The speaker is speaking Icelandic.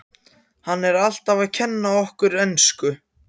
Hann er alltaf að kenna okkur ensku!